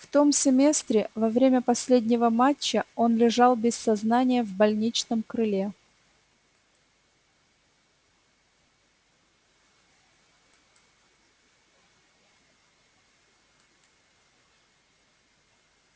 в том семестре во время последнего матча он лежал без сознания в больничном крыле